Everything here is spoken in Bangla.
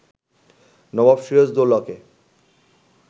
নবাব সিরাজদ্দৌলাকে